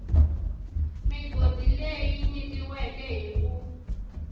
migodi leyi nyikiweke hi ku